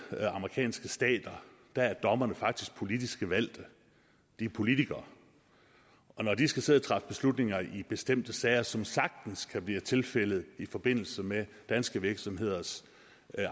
amerikanske stater er dommerne faktisk politisk valgte de er politikere og når de skal sidde og træffe beslutninger i bestemte sager som det sagtens kan blive tilfældet i forbindelse med danske virksomheders